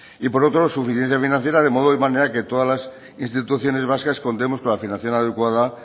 y por otro lado suficiencia financiera de modo o de manera que todas instituciones vascas contemos con la financiación adecuada